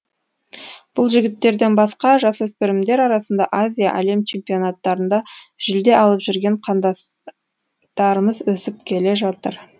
бұл жігіттерден басқа жасөспірімдер арасында азия әлем чемпионаттарында жүлде алып жүрген қан дас тарымыз өсіп келе жатыр